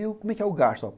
E como é que é o gasto?